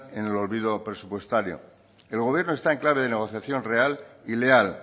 en el olvido presupuestario el gobierno está en clave de negociación real y leal